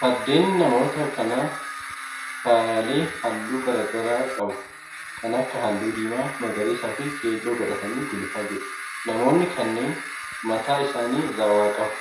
Fardeen namoota kanaa faayyaalee halluu garaa garaa qabu, kan akka halluu diimaa, magariisa fi keelloo godhatanii gulufaa jiru. Namoonni kunneen mataa isaanii irraa waa qabu.